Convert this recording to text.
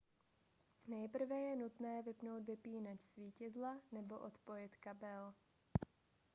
nejprve je nutné vypnout vypínač svítidla nebo odpojit kabel